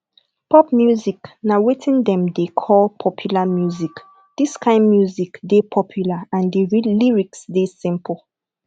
pop music na wetin dem dey call popular music this kind music dey popular and di lyrics dey simple